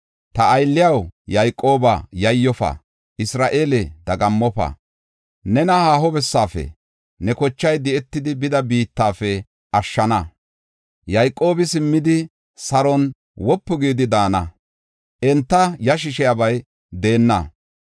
“Ta aylliyaw, Yayqooba yayyofa; Isra7eele, dagammofa. Nena haaho bessafe, ne kochay di7etidi bida biittafe ashshana. Yayqoobi simmidi, saron wopu gidi daana; enta yashisiyabay deenna.